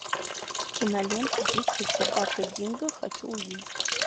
кинолента дикая собака динго хочу увидеть